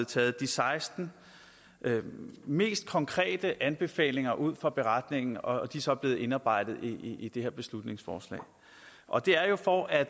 taget de seksten mest konkrete anbefalinger ud fra beretningen og de er så blevet indarbejdet i det her beslutningsforslag og det er jo for at